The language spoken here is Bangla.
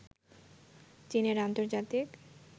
চীনের আন্তর্জাতিক